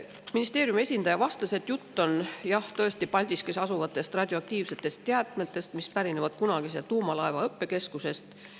Ministeeriumi esindaja vastas, et jutt on tõesti Paldiskis asuvatest radioaktiivsetest jäätmetest, mis pärinevad kunagisest tuumalaevade õppekeskusest.